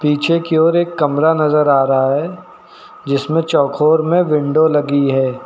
पीछे की ओर एक कमरा नजर आ रहा है जिसमें चौकोर में विंडो लगी है।